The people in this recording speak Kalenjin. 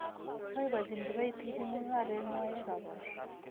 Boibochini kibaitinik mung'areng'wai ye kabor